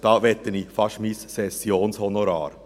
Hier wette ich fast mein Sessionshonorar.